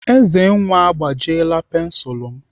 Ezenwa agbajiela pensilu m.